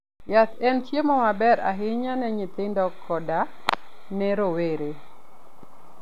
Yath en chiemo maber ahinya ne nyithindo koda ne rowere.